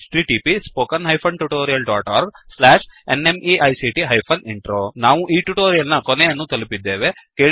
httpspoken tutorialorgNMEICT Intro ನಾವು ಈ tutorial ನ ಕೊನೆಯನ್ನು ತಲುಪಿದ್ದೇವೆ